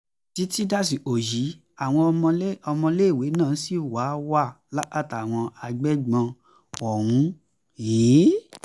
títí dàsìkò yìí àwọn ọmọléèwé náà ṣì wà wà lákàtà àwọn agbébọn ọ̀hún um